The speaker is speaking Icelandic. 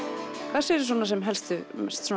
hvað sérðu svona sem helstu